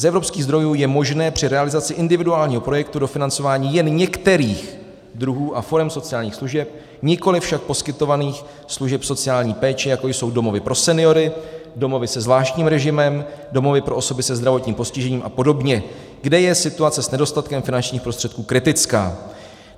Z evropských zdrojů je možné při realizaci individuálního projektu dofinancování jen některých druhů a forem sociálních služeb, nikoliv však poskytovaných služeb sociální péče, jako jsou domovy pro seniory, domovy se zvláštním režimem, domovy pro osoby se zdravotním postižením a podobně, kde je situace s nedostatkem finančních prostředků kritická.